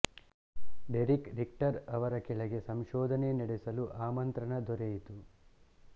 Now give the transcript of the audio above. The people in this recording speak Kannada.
ಡೆರಿಕ್ ರಿಕ್ಟರ್ ಅವರ ಕೆಳಗೆ ಸಂಶೋಧನೆ ನಡೆಸಲು ಆಮಂತ್ರಣ ದೊರೆಯಿತು